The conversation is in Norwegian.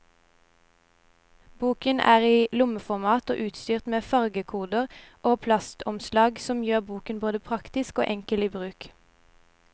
Boken er i lommeformat og utstyrt med fargekoder og plastomslag, noe som gjør boken både praktisk og enkel i bruk.